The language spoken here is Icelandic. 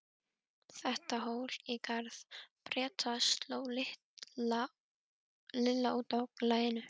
Þetta hól í garð Breta sló Lilla út af laginu.